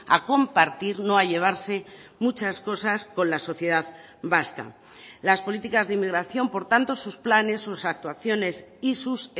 a compartir no a llevarse muchas cosas con la sociedad vasca las políticas de inmigración por tanto sus planes sus actuaciones y sus